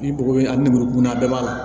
Ni bɔgɔ in a nimoro dunna ba b'a la